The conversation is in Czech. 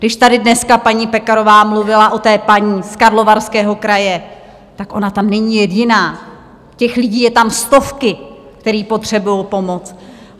Když tady dneska paní Pekarová mluvila o té paní z Karlovarského kraje, tak ona tam není jediná, těch lidí jsou tam stovky, které potřebují pomoct.